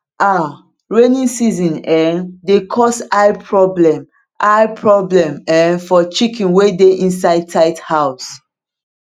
um rainy season um dey cause eye problem eye problem um for chicken wey dey inside tight house